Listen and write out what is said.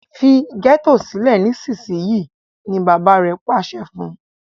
Fí getto sile nísìsiyìí! ní bàbá rẹ pàṣẹ fún.